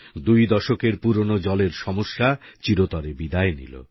দুই দশকের পুরনো জলের সমস্যা চিরতরে বিদায় নিল